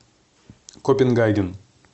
копенгаген